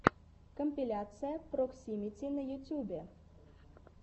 компиляция проксимити на ютубе